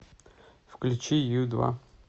включи ю два